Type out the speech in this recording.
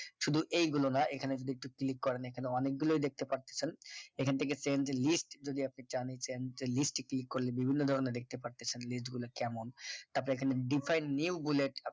শুধু এইগুলো না এখানে যদি একটু click করেন এখানে অনেকগুলো দেখতে পারতেছেন এখান থেকে change list যদি আপনি চান যে list এ click করলে বিভিন্ন ধরনের দেখতে পারতেছেন list গুলা কেমন তারপর এখানে define new বলে একটা